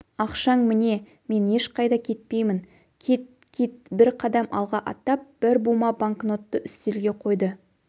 ақшаң міне мен ешқайда кетпеймін кит кит бір қадам алға аттап бір бума банкнотты үстелге қойды